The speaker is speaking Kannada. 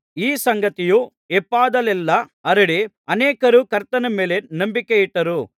ಈ ಸಂಗತಿಯು ಯೊಪ್ಪದಲ್ಲೆಲ್ಲಾ ಹರಡಿ ಅನೇಕರು ಕರ್ತನ ಮೇಲೆ ನಂಬಿಕೆಯಿಟ್ಟರು